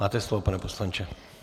Máte slovo, pane poslanče.